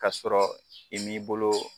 Kasɔrɔ i m'i bolo